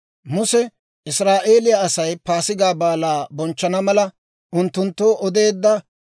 Muse Israa'eeliyaa Asay Paasigaa Baalaa bonchchana mala, unttunttoo odeedda.